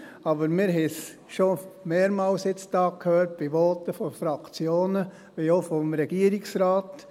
Aber wir haben es schon mehrmals hier gehört bei Voten von Fraktionen wie auch vom Regierungsrat: